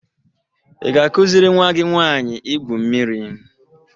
Ị ga-akụziri nwa gị nwanyị igwu mmiri